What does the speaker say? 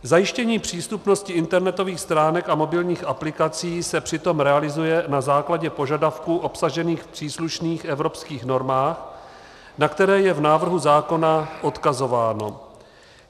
Zajištění přístupnosti internetových stránek a mobilních aplikací se přitom realizuje na základě požadavků obsažených v příslušných evropských normách, na které je v návrhu zákona odkazováno.